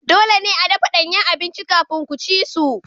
Dole ne a dafa danyen abinci kafin ku ci su.